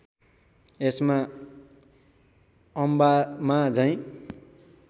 यसमा अम्बामा झैँ